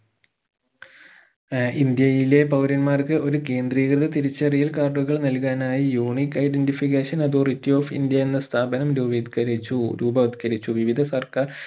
ആഹ് ഇന്ത്യയിലെ പൗരന്മാർക്ക് ഒരു കേന്ദ്രീകൃത തിരിച്ചറിയൽ card കൾ നൽകാനായി unique identification authority of India എന്ന സ്ഥാപനം രുപീത്കരിച്ചു രൂപവൽക്കരിച്ചു വിവിധ സർക്കാർ